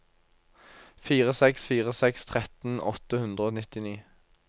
fire seks fire seks tretten åtte hundre og nittini